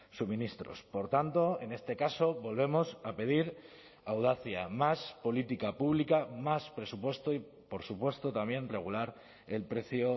suministros por tanto en este caso volvemos a pedir audacia más política pública más presupuesto y por supuesto también regular el precio